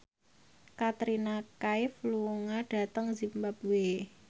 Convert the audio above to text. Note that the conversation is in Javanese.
Katrina Kaif lunga dhateng zimbabwe